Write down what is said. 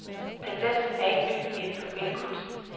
Tendensen er ikke ny inden for billedkunsten.